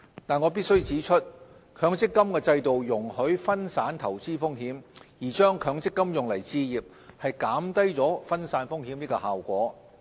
但我必須指出，強積金制度容許分散投資風險，而將強積金用來置業，減低分散風險的效果。